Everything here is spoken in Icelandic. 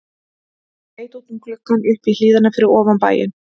Ég leit út um gluggann upp í hlíðina fyrir ofan bæinn.